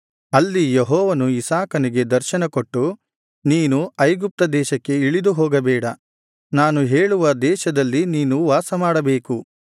ಅಲ್ಲಿ ಯೆಹೋವನು ಇಸಾಕನಿಗೆ ದರ್ಶನಕೊಟ್ಟು ನೀನು ಐಗುಪ್ತ ದೇಶಕ್ಕೆ ಇಳಿದು ಹೋಗಬೇಡ ನಾನು ಹೇಳುವ ದೇಶದಲ್ಲಿ ನೀನು ವಾಸಮಾಡಬೇಕು